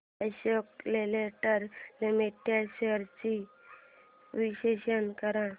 Ashok Leyland limited shares चे विश्लेषण कर